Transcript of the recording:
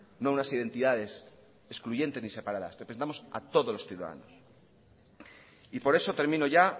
no a unas identidades excluyentes ni separadas representamos a todos los ciudadanos y por eso termino ya